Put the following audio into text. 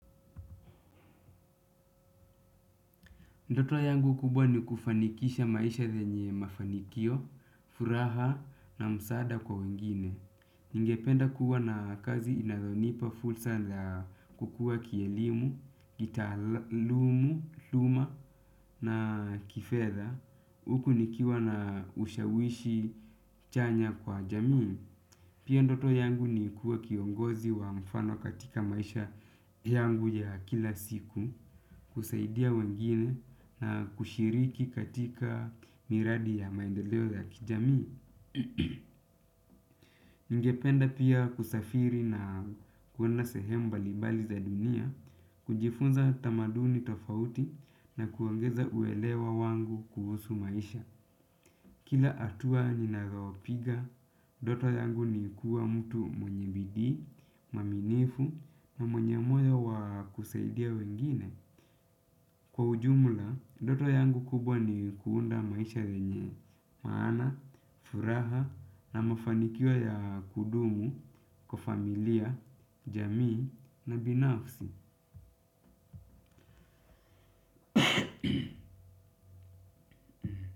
Ndoto yangu kubwa ni kufanikisha maisha zenye mafanikio, furaha na msaada kwa wengine. Ningependa kuwa na kazi inazonipa fulsa za kukua kielimu, kitaaluma na kifedha uku nikiwa na ushawishi chanya kwa jamii. Pia ndoto yangu ni kuwa kiongozi wa mfano katika maisha yangu ya kila siku, kusaidia wengine na kushiriki katika miradi ya maendeleo za kijamii. Ningependa pia kusafiri na kwenda sehemu mbalimbali za dunia, kujifunza tamaduni tofauti na kuongeza uelewa wangu kuhusu maisha. Kila hatua ninayo piga, ndoto yangu ni kuwa mtu mwanye bidii, muaminifu na mwenye moyo wa kusaidia wengine. Kwa ujumula, ndoto yangu kubwa ni kuunda maisha yenye, maana, furaha na mafanikio ya kudumu, kwa familia, jamii na binafsi.